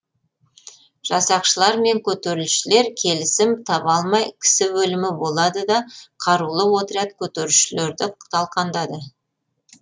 жасақшылар мен көтерілісшілер келісім таба алмай кісі өлімі болады да қарулы отряд көтерілісшілерді талқандады